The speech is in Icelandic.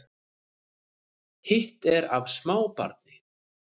Hitt er af smábarni